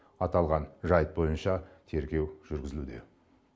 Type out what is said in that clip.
аталған жайт бойынша тергеу жүргізілуде